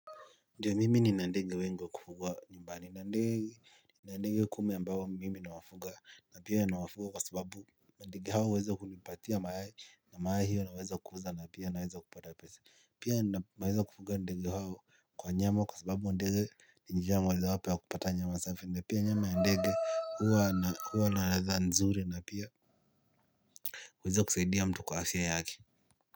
Ndiyo mimi nina ndege wengi wa kufugwa nyumbani. Nina ndege kumi ambao mimi nawafuga na pia nawafuga kwa sababu. Ndege hao huweza kunipatia mayai na mayai hiyo naweza kuuza na pia naweza kupata pesa. Pia ninapoweza kufuga ndege hao kwa nyama kwa sababu ndege ni njia moja wapo ya kupata nyama safi. Na pia nyama ya ndege huwa na huwa na ladha nzuri na pia. Huweza kusaidia mtu kwa afya yake.